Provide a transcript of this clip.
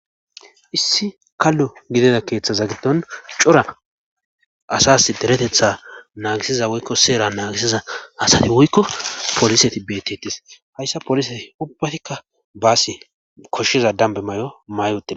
Issi kallu gidida keeththaza giddon cura asas deretetha naagisiza woykko seera naagisiza asati woykko polise ti betetis hayssa polise ubbatikka baasi koshshiza dambe may'o may otide.